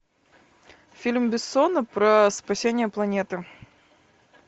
фильм бессона про спасение планеты